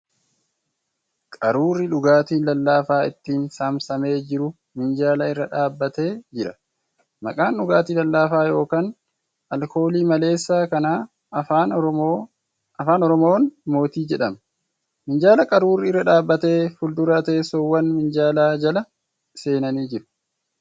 Qaruurri dhugaatiin lallaafaa ittiin saamsamee jiru minjaala irra dhaabbatee jira. Maqaan dhugaatii lallaafaa yookan alkoolii maleessa kanaa afaan Oromoon 'Mootii ' jedhama. Minjaala qaruurri irra dhaabbate fuuldura teessoowwan minjaala jala seenanii jiru.